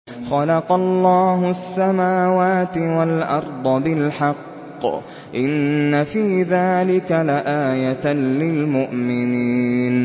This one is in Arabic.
خَلَقَ اللَّهُ السَّمَاوَاتِ وَالْأَرْضَ بِالْحَقِّ ۚ إِنَّ فِي ذَٰلِكَ لَآيَةً لِّلْمُؤْمِنِينَ